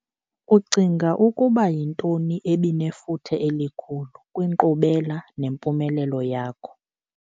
Ucinga ukuba yintoni ebinefuthe elikhulu kwinkqubela nempumelelo yakho?